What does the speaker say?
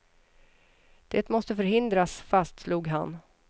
Det måste förhindras, fastslog han.